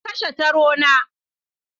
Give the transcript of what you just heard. Na kashe taro na.